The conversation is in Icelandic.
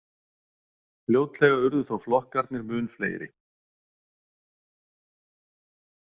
Fljótlega urðu þó flokkarnir mun fleiri.